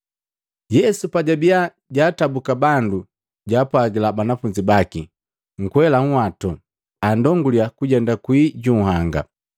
Yesu pajabiya jaatabuka bandu jaapwagila banafunzi baki akwela nhwatu, andonguliya kujenda kwii ju nhanga.